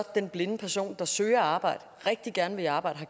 den blinde person der søger arbejde rigtig gerne vil i arbejde og